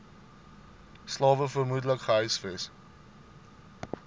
slawe vermoedelik gehuisves